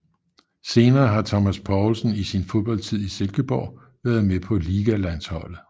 Senere har Thomas Poulsen i sin fodboldtid i Silkeborg været med på Ligalandsholdet